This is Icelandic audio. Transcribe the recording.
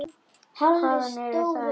Hvaðan eru þær.